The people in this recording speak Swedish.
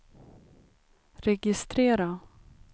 registrera